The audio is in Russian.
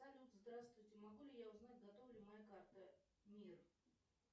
салют здравствуйте могу ли я узнать готова ли моя карта мир